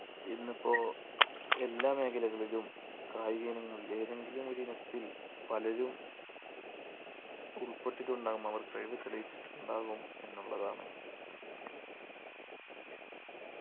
ഇന്നിപ്പോ എല്ലാ മേഖലകളിലും കായിക ഇനങ്ങളിൽ ഏതെങ്കിലും ഒരിനത്തിൽ പലരും ഉൾപ്പെട്ടിട്ടുണ്ടാവും അവർ കഴിവ് തെളിയിച്ചിട്ടുണ്ടാകും എന്നുള്ളതാണ്